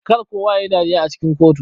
Kar kowa yayi dariya a cikin kotu.